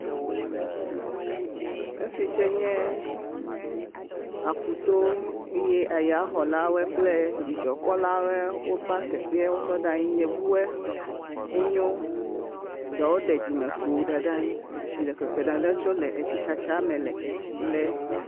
Fi tsɛ nye aƒuto eye yaxɔlawo kple dzidzɔkpɔlawoe wova teƒea wotɔ ɖe anyi, yevuwoe wonye, ɖewo ɖe dzimekpo da ɖe anyi etsi le ƒeƒe dada tso le tsi lee.